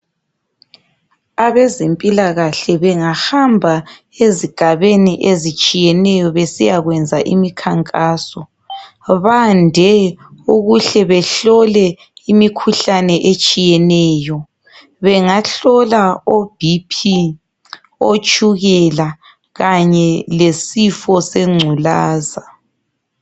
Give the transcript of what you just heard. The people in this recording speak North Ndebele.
Abezempilakahle bengahamba ezigabeni ezitshiyeneyo besiya kwenza imikhankaso, bande ukuhle behlole imikhuhlane etshiyeneyo. Bengahlola oBP otshukela kanye lesifo sengculaza.